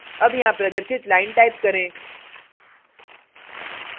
अब यहाँ प्रदर्शित line type करें